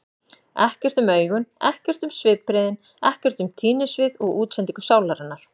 Ekkert um augun, ekkert um svipbrigðin, ekkert um tíðnisvið og útsendingu sálarinnar.